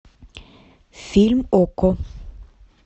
фильм окко